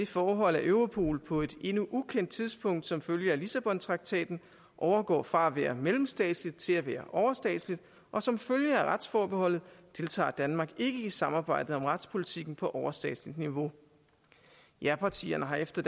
forhold at europol på et endnu ukendt tidspunkt som følge af lissabontraktaten overgår fra at være mellemstatsligt til at være overstatsligt og som følge af retsforbeholdet deltager danmark ikke i samarbejdet om retspolitikken på overstatsligt niveau japartierne har efter